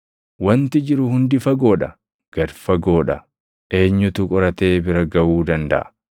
Wanti jiru hundi fagoo dha; gad fagoo dha; eenyutu qoratee bira gaʼuu dandaʼa?